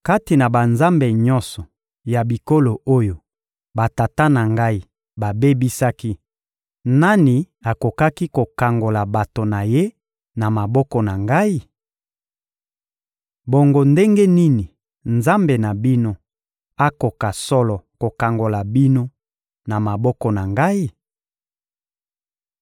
Kati na banzambe nyonso ya bikolo oyo batata na ngai babebisaki, nani akokaki kokangola bato na ye na maboko na ngai? Bongo ndenge nini Nzambe na bino akoka solo kokangola bino na maboko na ngai?